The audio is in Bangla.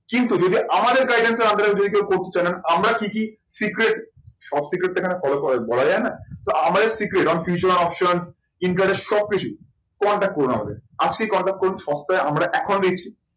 কিন্তু যদি আমাদের guidance আপনারা যদি কেউ করতে চান, আমরা কি কি secret সব secret তো এখানে ফলো করার বলা যায় না। তো আমাদের secret on fusion option interact সব কিছু contract করুন আমাদের। আজকেই contract করুন, সপ্তায় আমরা